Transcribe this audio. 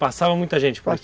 Passava muita gente por aqui?